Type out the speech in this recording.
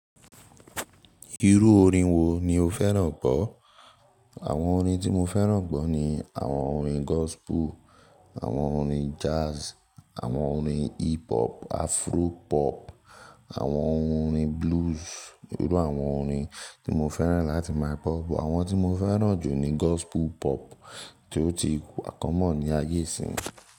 Irú orin wo ni o fẹ́ràn gbọ́? Àwọn orin tí mo fẹ́ràn gbọ́ ni àwọn orin gospu, àwọn orin jazz, àwọn orin hip hop, afro pop, àwọn orin blues. Irú àwọn orin tí mo fẹ́ràn láti máa gbọ́, àwọn tí mo fẹ́ràn jù ni gospu pop tí ó ti kọmọ̀n ní ayé ìsín.